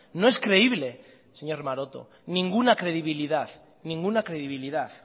no es creíble señor maroto ninguna credibilidad ninguna credibilidad